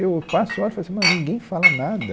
Eu passo e olho e falo assim, mas ninguém fala nada.